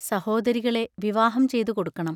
സഹോദരികളെ വിവാഹം ചെയ്തുകൊടുക്കണം.